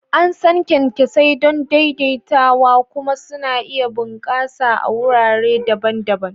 An san kyankyasai don daidaitawa kuma suna iya bunƙasa a wurare daban-daban.